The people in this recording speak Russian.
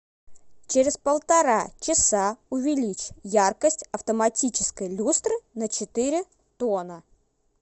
через полтора часа увеличь яркость автоматической люстры на четыре тона